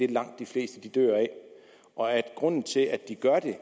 langt de fleste dør af og at grunden til at de gør det er